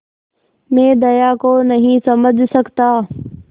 मैं दया को नहीं समझ सकता